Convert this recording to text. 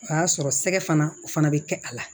O y'a sɔrɔ sɛgɛ fana o fana bɛ kɛ a la